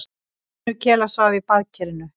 Vinur Kela svaf í baðkerinu.